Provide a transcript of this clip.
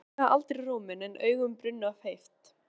Hún hækkaði aldrei róminn en augun brunnu af heift.